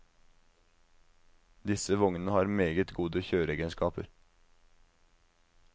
Disse vognene har meget gode kjøreegenskaper.